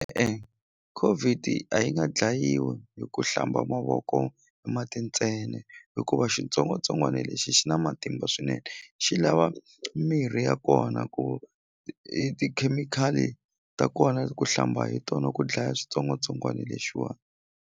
COVID a yi nga dlayiwi hi ku hlamba mavoko mati ntsena hikuva xitsongwatsongwani lexi xi na matimba swinene xi lava mirhi ya kona ku i tikhemikhali ta kona ku hlamba hi tona ku dlaya xitsongwatsongwani lexiwa.